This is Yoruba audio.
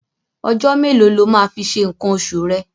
Ọjọ́ mélòó lo máa fi ṣe nǹkan oṣù rẹ̀?